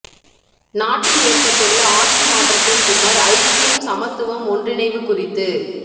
நாட்டில் ஏற்பட்டுள்ள ஆட்சி மாற்றத்தின் பின்னர் ஐக்கியம் சமத்துவம் ஒன்றிணைவு குறித்து